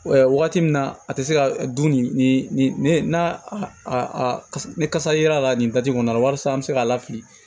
Ɛ wagati min na a tɛ se ka dun nin na ne kasa yera la nin kɔnɔna la walasa an bɛ se k'a lafili